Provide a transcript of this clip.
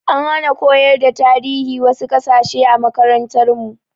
An hana koyar da tarihin wasu kasashe a makarantar mu